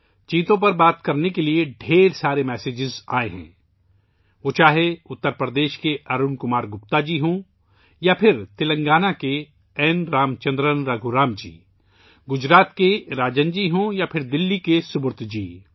چیتوں کے بارے میں بات کرنے کے بہت سے پیغامات آئے ہیں، چاہے وہ اتر پردیش کے ارون کمار گپتا ہوں یا پھر تلنگانہ کے این رام چندرن رگھورام جی؛ گجرات کے راجن جی ہوں یا دلّی کے سبرت جی